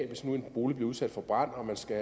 hvis nu en bolig bliver udsat for brand og man skal